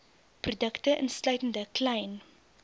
produkte insluitende klein